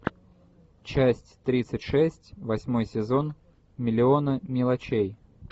часть тридцать шесть восьмой сезон миллионы мелочей